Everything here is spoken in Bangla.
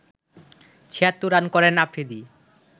৭৬ রান করেন আফ্রিদি